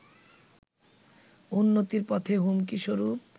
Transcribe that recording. উন্নতির পথে হুমকি স্বরূপ